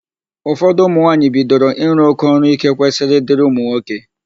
Ụfọdụ ụmụnwaanyị bidoro ịrụ ọrụ íké kwesịrị ịdịrị ụmụnwoke.